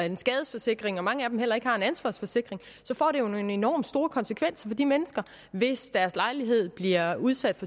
en skadesforsikring og at mange af dem heller ikke har en ansvarsforsikring så får det jo nogle enormt store konsekvenser for de mennesker hvis deres lejlighed bliver udsat